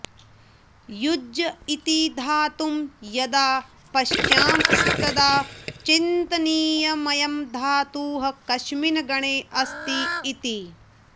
युज् इति धातुं यदा पश्यामस्तदा चिन्तनीयमयं धातुः कस्मिन् गणेऽस्ति इति